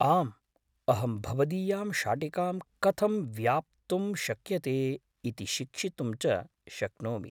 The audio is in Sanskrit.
आम्, अहं भवदीयां शाटिकां कथं व्याप्तुं शक्यते इति शिक्षितुं च शक्नोमि।